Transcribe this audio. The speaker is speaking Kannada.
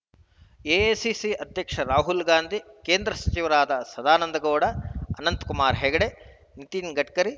ಎಸಿಸಿ ಅಧ್ಯಕ್ಷ ರಾಹುಲ್‌ ಗಾಂಧಿ ಕೇಂದ್ರ ಸಚಿವರಾದ ಸದಾನಂದಗೌಡ ಅನಂತಕುಮಾರ್‌ ಹೆಗಡೆ ನಿತಿನ್‌ ಗಡ್ಕರಿ